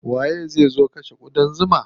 Waye zai zo kashe ƙudan zuman?